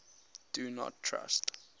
do not trust